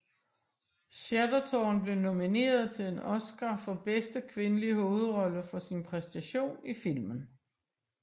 Chatterton blev nomineret til en Oscar for bedste kvindelige hovedrolle for sin præstation i filmen